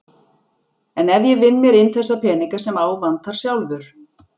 En ef ég vinn mér inn þessa peninga sem á vantar sjálfur?